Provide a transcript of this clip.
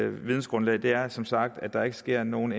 vidensgrundlag er som sagt at der ikke sker nogle